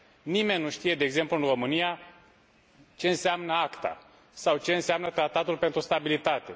Nimeni nu știe de exemplu în România ce înseamnă ACTA, sau ce înseamnă Tratatul pentru stabilitate.